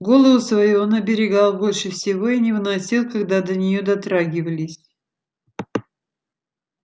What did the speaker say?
голову свою он оберегал больше всего и не выносил когда до неё дотрагивались